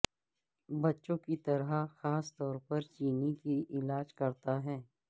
بچوں کی طرح خاص طور پر چینی کی علاج کرتا ہے